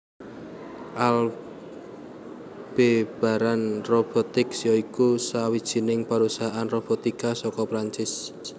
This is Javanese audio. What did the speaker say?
Aldebaran Robotics ya iku sawijining perusahaan robotika saka Prancis